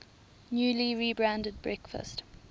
newly rebranded breakfast